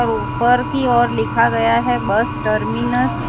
ऊपर की ओर लिखा गया है बस टर्मिनस --